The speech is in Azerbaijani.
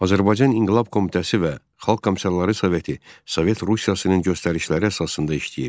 Azərbaycan İnqilab Komitəsi və Xalq Komissarları Soveti Sovet Rusiyasının göstərişləri əsasında işləyirdi.